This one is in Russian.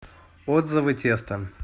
отзывы тесто